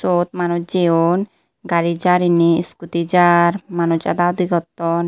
yot manuch jeyon gari jaar inni iskuti jaar manuch ada udi gotton.